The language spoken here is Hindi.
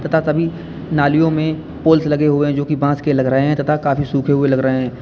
ता सभी नालियों में पोल्स लगे हुए हैं जो कि बांस के लग रहे है तथा काफी सूखे हुए लग रहे हैं।